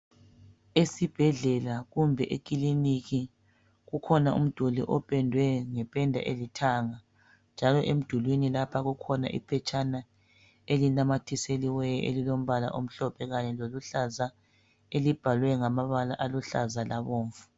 Esibhedlela kumbe ekiliniki kukhona umduli opedwe ngependa elithanga njalo emdulwini lapha kukhona iphetshana elinamathisiweyo elilombala omhlophe kanye loluhlaza elibhalwe ngamabala aluhlaza labomvu.